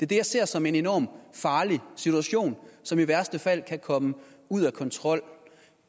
det jeg ser som en enorm farlig situation som i værste fald kan komme ud af kontrol